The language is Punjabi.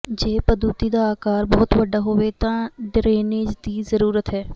ਜੇ ਪਦੂਤੀ ਦਾ ਆਕਾਰ ਬਹੁਤ ਵੱਡਾ ਹੋਵੇ ਤਾਂ ਡਰੇਨੇਜ ਦੀ ਜ਼ਰੂਰਤ ਹੈ